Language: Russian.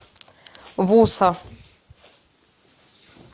вуса